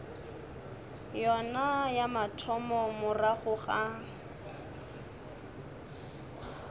yona ya mathomo morago ga